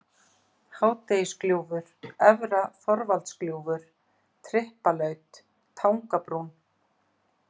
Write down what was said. Hádegisgljúfur, Efra-Þorvaldsgljúfur, Tryppalaut, Tangabrún